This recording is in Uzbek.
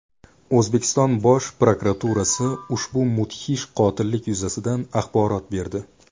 O‘zbekiston Bosh prokuraturasi ushbu mudhish qotillik yuzasidan axborot berdi .